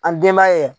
An denbaya